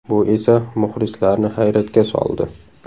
Bu esa muxlislarni hayratga soldi.